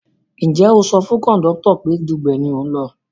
Ǹjẹ́ o sọ fún kọ̀ndọ́tọ̀ pé Dugbe ni ò ń lọ?